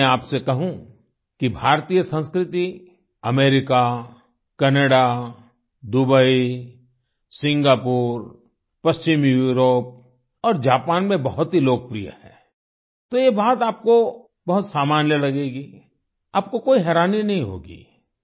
अगर मैं आपसे कहूँ कि भारतीय संस्कृति अमेरिका कनाडा दुबई सिंगापुर पश्चिमी यूरोप और जापान में बहुत ही लोकप्रिय है तो यह बात आपको बहुत सामान्य लगेगी आपको कोई हैरानी नहीं होगी